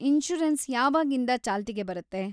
Insurance ಯಾವಾಗಿಂದ ಚಾಲ್ತಿಗೆ ಬರುತ್ತೆ?